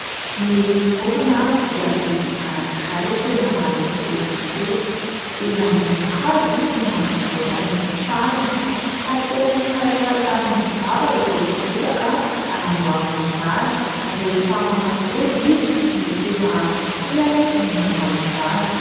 Ny vorona dia biby anankiray tena mahaleotena tokoa. Eny ambony hazo izy no manamboatra ny tranony. Tateriny tsirairay amin'ny vava ireo bozaka hanamboarany izany. Rehefa manatody izy no tena tiany ny manao izany.